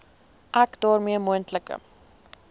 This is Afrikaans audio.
ek daarmee moontlike